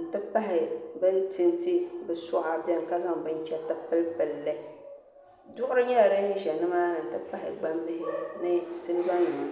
n-ti pahi bɛ ni tinti bɛ suɣa beni ka zaŋ binchɛriti pilipili li duɣiri nyɛla din za ni maa ni n-ti pahi gbambihi ni silibanima